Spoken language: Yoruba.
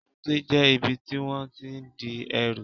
Èbúté jẹ́ ibi tí wón tí n di ẹrù